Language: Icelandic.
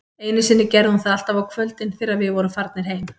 Einu sinni gerði hún það alltaf á kvöldin, þegar við vorum farnir heim